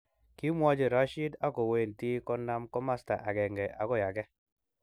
Kimwochi Rashid ako wentii konamkomosta akenge okoi age